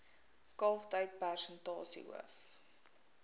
kalftyd persentasie hoof